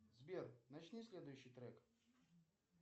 сбер начни следующий трек